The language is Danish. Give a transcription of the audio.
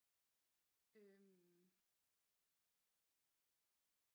Øh